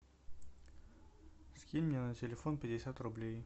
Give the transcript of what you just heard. скинь мне на телефон пятьдесят рублей